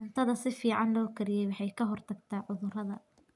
Cuntada si fiican loo kariyey waxay ka hortagtaa cudurrada.